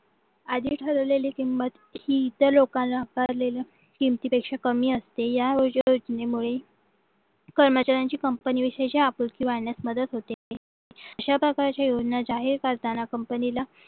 आधी ठरवलेली किंमत ही इतर लोकांना आकारलेल्या किमतीपेक्षा कमी असते या उज्वल योजनेमुळे कर्मचाऱ्यांची कंपनीशी आपुलकी वाढण्यास मदत होते अशा प्रकारची योजना जाहीर करताना कंपनीला